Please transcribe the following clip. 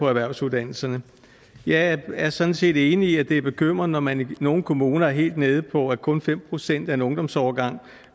erhvervsuddannelserne jeg er sådan set enig i at det er bekymrende når man i nogle kommuner er helt nede på at kun fem procent af en ungdomsårgang